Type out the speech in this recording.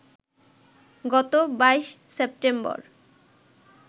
গত ২২ সেপ্টেম্বর